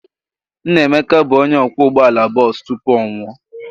Nna Emeka bụ onye ọkwọ ụgbọala bọọsụ tupu ọ nwụọ.